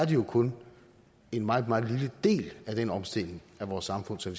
jo kun en meget meget lille del af den omstilling af vores samfund som